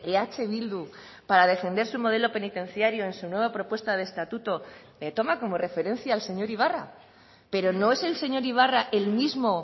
eh bildu para defender su modelo penitenciario en su nueva propuesta de estatuto toma como referencia al señor ibarra pero no es el señor ibarra el mismo